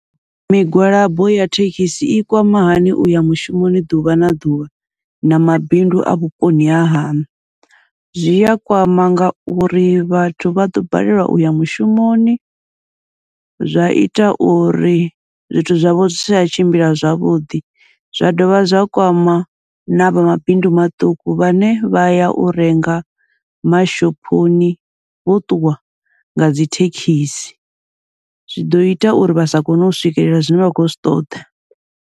Migwalabo ya thekhisi i kwama hani uya mushumoni ḓuvha na ḓuvha na mabindu a vhuponi ha haṋu, zwi a kwama ngauri vhathu vha ḓo balelwa uya mushumoni, zwa ita uri zwithu zwavho zwi si tsha tshimbila zwavhuḓi. Zwa dovha zwa kwama navha mabindu maṱuku, vhane vha ya u renga mashophoni vho ṱuwa ngadzi thekhisi, zwi ḓo ita uri vha sa kone u swikelela zwine vha khou zwi ṱoḓa.